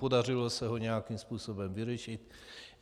Podařilo se ho nějakým způsobem vyřešit.